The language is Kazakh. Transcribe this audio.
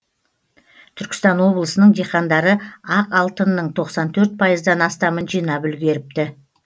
түркістан облысының диқандары ақ алтынның тоқсан төрт пайыздан астамын жинап үлгеріпті